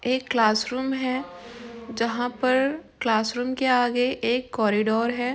एक क्लासरूम है जहां पर क्लासरूम के आगे एक कॉरिडोर है।